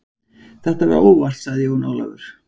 Þetta var óvart, sagði Jón Ólafur.